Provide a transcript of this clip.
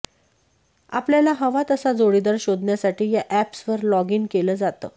आपल्याला हवा तसा जोडीदार शोधण्यासाठी या अॅप्सवर लॉगिन केलं जातं